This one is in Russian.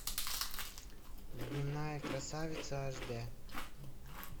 дневная красавица аш дэ